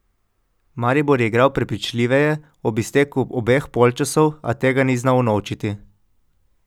Maribor je igral prepričljiveje ob izteku obeh polčasov, a tega ni znal unovčiti.